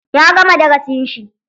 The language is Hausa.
Ya gama darasin shi.